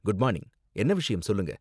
good morning, என்ன விஷயம்னு சொல்லுங்க